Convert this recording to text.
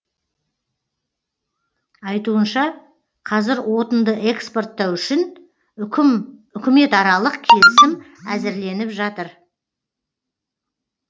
айтуынша қазір отынды экспорттау үшін үкіметаралық келісім әзірленіп жатыр